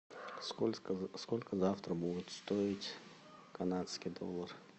сколько завтра будет стоить канадский доллар